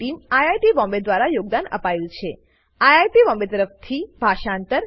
આ સ્ક્રીપ્ટ બનાવવા માટે ફોસી અને spoken tutorial team I I T Bombay દ્વારા યોગદાન આપ્યું છે